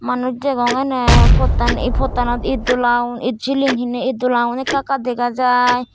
manuj degong eney pottan pottanot it dola it siling heney it dola gun ekka ekka dega jai.